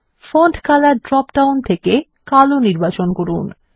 font colour drop down থেকে কালো নির্বাচন করুন